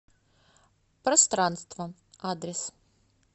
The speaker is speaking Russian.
пространство адрес